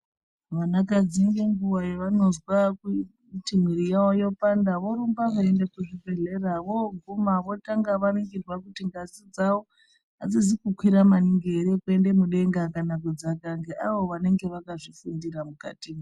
Vanakadzi ngenguva yavanozwa kuti mwiri yavo yopanda vorumba veiende kuzvibhedhlera. Voguma votanga varingirwa kuti ngazi dzavo hadzizi kukwira maningi ere, kukwire mudenga, kana kudzaka ngeavo vanenge vakazvifundira mukatimwo.